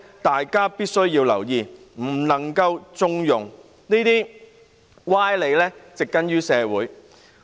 大家必須留意這種情況，不能縱容這些歪理植根於社會。